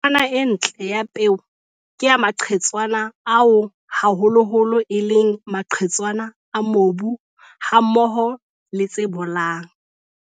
Tshingwana e ntle ya peo ke ya maqhetswana ao haholoholo e leng maqhetswana a mobu hammoho le tse bolang.